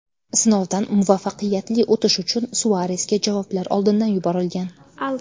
Sinovdan muvaffaqiyatli o‘tish uchun Suaresga javoblar oldindan yuborilgan.